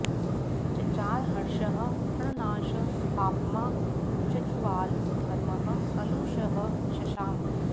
चचार हर्षः प्रणनाश पाप्मा जज्वाल धर्मः कलुषः शशाम